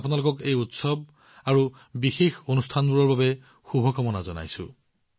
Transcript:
মই আপোনালোকক এই উৎসৱ আৰু বিশেষ অনুষ্ঠানবোৰৰ বাবে শুভকামনা জনাইছো